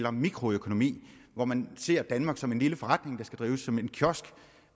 om mikroøkonomi hvor man ser danmark som en lille forretning der skal drives som en kiosk